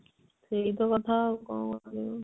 ସେଇ ତ କଥା ଆଉ କଣ କହିବ